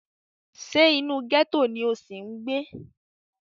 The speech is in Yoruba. Ṣé inú gẹ́tò ni o ṣì ń gbé?